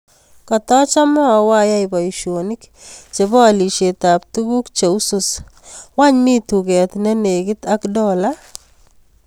Katachame awa ayai boisyonik chebo alisiet ab tukuuk che usus wany mi tukeet nenegit ak dola